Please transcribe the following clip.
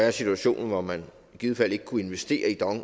en situation hvor man i givet fald ikke kunne investere i dong